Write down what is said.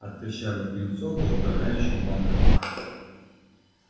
от прыщавых юнцов до управляющих банков